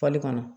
kɔnɔ